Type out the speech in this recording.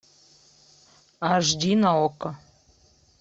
аш ди на окко